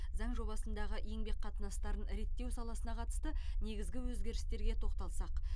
заң жобасындағы еңбек қатынастарын реттеу саласына қатысты негізгі өзгерістерге тоқталсақ